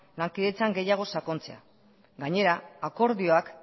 lankidetzan gehiago sakontzea gainera akordioak